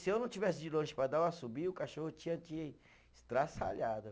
Se eu não tivesse de longe para dar um assobio, o cachorro tinha te estraçalhado.